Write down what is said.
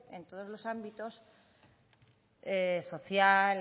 en todos los ámbitos social